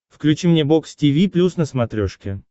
включи мне бокс тиви плюс на смотрешке